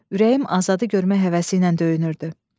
Ürəyim Azadı görmək həvəsi ilə döyünürdü.